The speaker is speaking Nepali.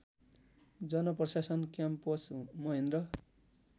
जनप्रशासन क्याम्पस महेन्द्र